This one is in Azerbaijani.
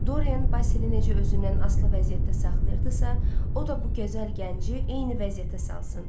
Dorian Basilini necə özündən asılı vəziyyətdə saxlayırdısa, o da bu gözəl gənci eyni vəziyyətdə salsın,